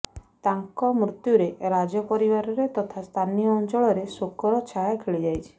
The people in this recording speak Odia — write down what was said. ତାଙ୍କ ମୃତ୍ୟୁରେ ରାଜ ପରିବାରରେ ତଥା ସ୍ଥାନୀୟ ଅଞ୍ଚଳ ରେ ଶୋକର ଛାୟା ଖେଳିଯାଇଛି